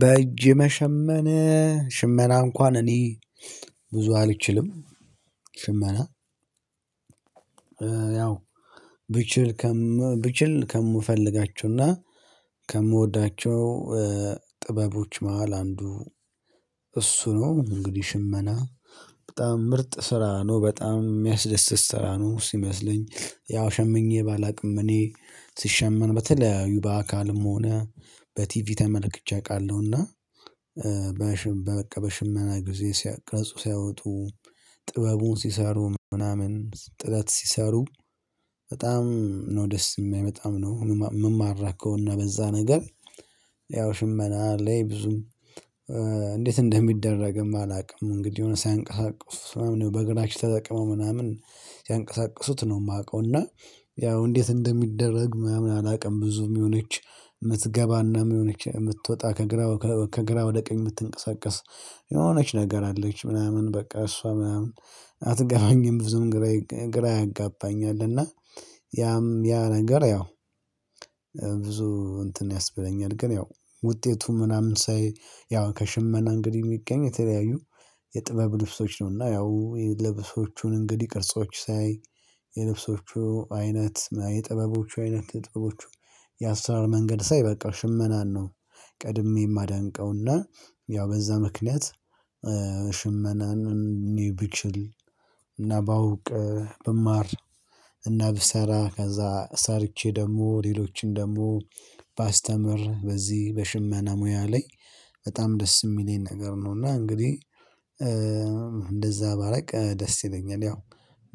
በእጅ መሸመን ሽመና እንኳን እኔ ብዙ አልችልም ሽመና። ያው ብችል ከም ብችል ከምፈልጋቸውና ከምወዳቸው ጥበቦች መሃል አንዱ እሱ ነው። እንግዲህ ሽመና በጣም ምርጥ ስራ ነው በጣም የሚያስደስት ስራ ነው ሲመስለኝ። ያው ሸምኜ ባላውቅም እኔ ሲሸመን በተለያዩ በአካልም ሆነ በቲቪ ተመልክቼ አውቃለሁና። በበቃ በሽመና ጊዜ ሲያቅርጹ ቅርጽ ሲያወጡ ጥበቡን ሲሰሩ ምናምን ጥላት ሲሰሩ በጣም ነው ደስ የማይመጣው ነው። የምማራከውና በዛ ነገር ያው ሽመና ላይ ብዙም እንዴት እንደሚደረግም አላውቅም። እንግዲህ የሆነ ሳያንቀሳቅሱት ምናምን በግራሽ ተጠቅመው ምናምን ሲያንቀሳቅሱት ነው የማውቀው። እና ያው እንዴት እንደሚደረግ ምናምን አላውቅም። ብዙም የሆነች የምትገባና የሆነች የምትወጣ ከግራ ከግራ ወደ ቀኝ የምትንቀሳቀስ የሆነች ነገር አለች ምናምን በቃ እሷ ምናምን አትገባኝም። ብዙም ግራ ግራ ያጋባኛል እና ያም ያ ነገር ያው ብዙ እንትን ያስበለኛል። ግን ያው ውጤቱ ምናምን ሳይ ያው ከሽመና እንግዲህ የሚገኝ የተለያዩ የጥበብ ልብሶች ነውና ያው የልብሶቹን እንግዲህ ቅርጾች ሳይ የልብሶቹ አይነት የጥበቦቹ አይነት የጥበቦቹ የአሰራር መንገድ ሳይ በቃ ሽመናን ነው። ቀድሜ የማደንቀውና ያው በዛ ምክንያት። ሽመናን እኔ ብችል እና ባውቅ ብማር እና ብሰራ ከዛ ሰርቼ ደግሞ ሌሎችን ደግሞ ባስተምር በዚህ በሽመና ሙያ ላይ በጣም ደስ የሚለኝ ነገር ነው። እና እንግዲህ እንደዛ ባላውቅ ደስ ይለኛል። ያው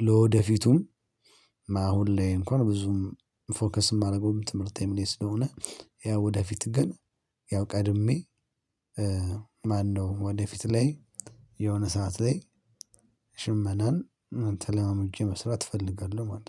ለወደፊቱም አሁን ላይ እንኳን ብዙም ፎከስ የማደርገውም ትምህርቴም ላይ ስለሆነ ያው ወደፊት ግን ያው ቀድሜ ማነው ወደፊት ላይ የሆነ ሰዓት ላይ ሽመናን ተለማምጄ መስራት እፈልጋለሁ። ማለት ነው